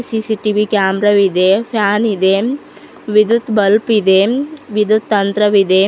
CCTV camera ವಿದೆ ಫ್ಯಾನಿ ದೆ ವಿದ್ಯುತ್ ಬಲ್ಪ್ ಇದೆ ವಿದ್ಯುತ್ ತಂತ್ರವಿದೆ.